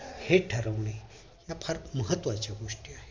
हे ठरवणे ह्या फार महत्वाचं गोष्टी आहे